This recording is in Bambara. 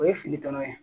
O ye fili tɔnɔ ye